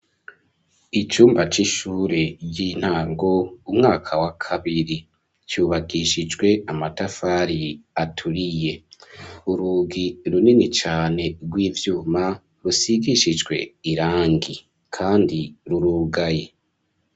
Icumba c'ishure ry'intango, umwaka wa kabiri, cubakishijwe amatafari aturiye; urugi runini cane, rw'ivyuma, rusigishijwe irangi, kandi rurugaye.